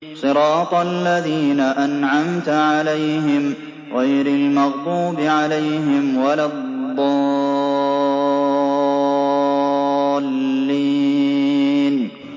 صِرَاطَ الَّذِينَ أَنْعَمْتَ عَلَيْهِمْ غَيْرِ الْمَغْضُوبِ عَلَيْهِمْ وَلَا الضَّالِّينَ